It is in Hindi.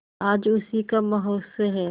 आज उसी का महोत्सव है